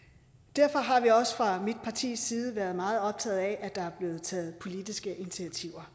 derfor har vi også fra mit partis side været meget optaget af at der er blevet taget politiske initiativer